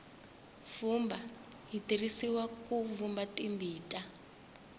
vumba byi tirhisiwa ku vumba timbita